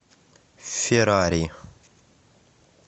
феррари